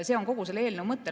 See on kogu selle eelnõu mõte.